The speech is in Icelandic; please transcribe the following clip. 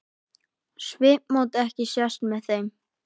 Svipmót ekki sést með þeim.